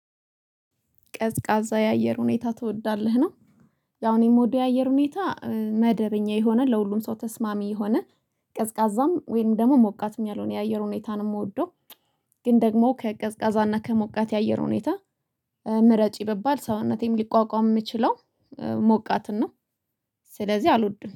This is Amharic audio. ቀዝቃዛ የአየር ሁኔታ ትወዳለህ ነው? ያው እኔ ምወደው የአየር ሁኔታ መደበኛ የሆነ ለሁሉም ሰው ተስማሚ የሆነ። ቀዝቃዛም ወይም ደግሞ ሞቃትም ያልሆነ የአየር ሁኔታ ነው ምወደው። ግን ደግሞ ከቀዝቃዛና ከሞቃት የአየር ሁኔታ። ምረጭ ቢባል ሰውነቴም ሊቋቋም ምችለው ሞቃትን ነው። ስለዚህ አልወድም